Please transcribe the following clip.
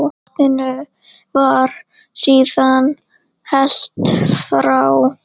Vatninu var síðan hellt frá.